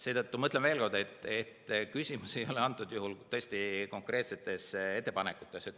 Seetõttu ma ütlen veel kord, et küsimus ei ole antud juhul tõesti konkreetsetes ettepanekutes.